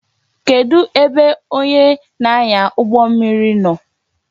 Kedu ebe onye na-anya ụgbọ mmiri nọ?